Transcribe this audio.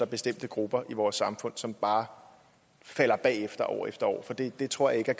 bestemte grupper i vores samfund som bare halter bagefter år efter år for det det tror jeg